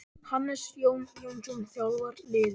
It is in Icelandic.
Hannes Jón Jónsson þjálfar liðið.